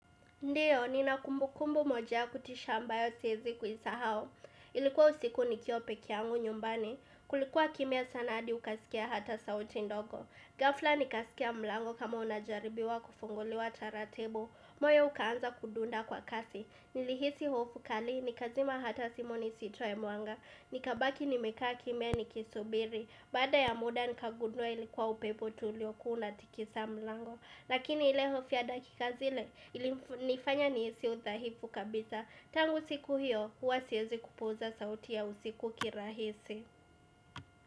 Ndiyo nina kumbukumbu moja ya kutisha ambayo siezi kuisahau Ilikuwa usiku nikiwa peke yangu nyumbani. Kulikuwa kimya sana hadi ukasikia hata sauti ndogo ghafla nikasikia mlango kama unajaribiwa kufunguliwa taratibu. Moyo ukaanza kudunda kwa kasi. Nilihisi hofu kali nikazima hata simu nisitoe mwanga. Nikabaki nimekaa kimya nikisubiri. Baada ya muda nikagundua ilikuwa upepo tu uliokuwa unatikisa mlango. Lakini ile hofu ya dakika zile, nifanya nihisi udhaifu kabisa. Tangu siku hiyo, hua siezi kupuuza sauti ya usiku kirahisi.